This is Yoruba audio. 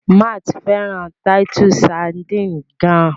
Matt fẹràn Titus sardines gaan.